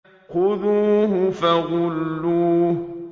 خُذُوهُ فَغُلُّوهُ